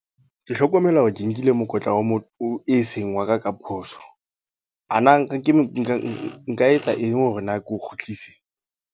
Ke hlokomela hore ke nkile mokotla wa mo, o seng wa ka ka phoso. A na nka etsa eng hore na ke o kgutlise?